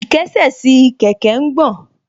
Ìkésè sí kẹ̀kẹ́ ń gbọ̀n